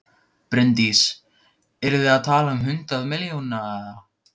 Bryndís: Eru þið að tala um hundruð milljóna eða?